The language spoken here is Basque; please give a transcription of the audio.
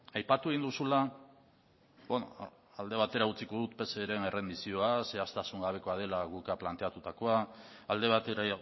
aipatu dituzula hor alde batera utziko dut pseren errendizioa zehaztasun gabekoa dela guk planteatutakoa alde batera